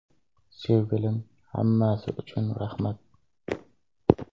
Sevgilim, hammasi uchun rahmat!